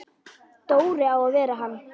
Dóri á að vera hann!